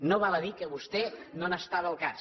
no val a dir que vostè no n’estava al cas